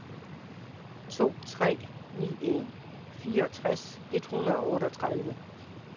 to tre ni en fireogtres et hundrede og otteogtredive